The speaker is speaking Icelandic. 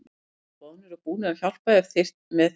Allir voru boðnir og búnir til að hjálpa ef með þurfti.